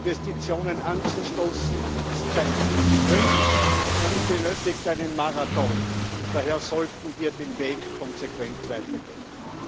Investitionen anzustoßen, ist kein Sprint, sondern benötigt einen Marathon, und daher sollten wir den Weg konsequent weitergehen.